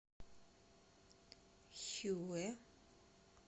хюэ